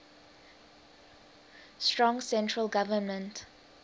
strong central government